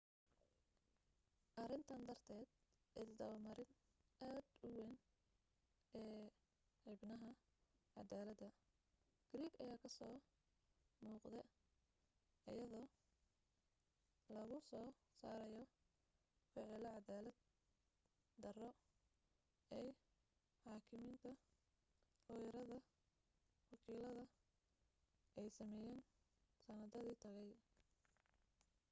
arintan darteed isdaba marin aad u weyn ee xubnaha cadaalada greek ayaa kasoo muuqde ayadoo lagu soo saarayo ficilo cadaalad daro ay xaakimiinta looyarada wakiilada ay sameyeen sanadadii tagay